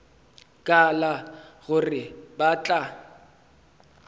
ka la gore ba tla